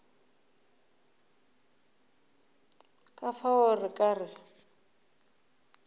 ka fao re ka re